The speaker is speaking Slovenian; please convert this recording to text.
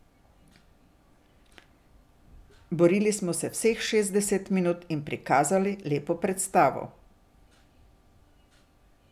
Borili smo se vseh šestdeset minut in prikazali lepo predstavo.